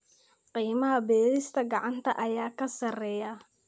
Qiimaha beerista gacanta ayaa ka sarreeya.